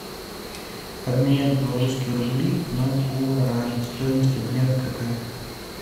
обменять белорусские рубли на гуарани стоимость обмена какая